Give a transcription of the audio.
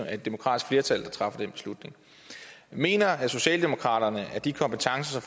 er et demokratisk flertal der træffer den beslutning mener socialdemokraterne at have de kompetencer